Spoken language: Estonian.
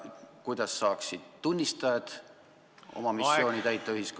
Kuidas saaksid tunnistajad tulevikus oma missiooni ühiskonnas täita?